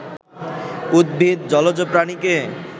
উদ্ভিদ, জলজ প্রাণীকে